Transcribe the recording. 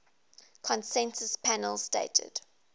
consensus panel stated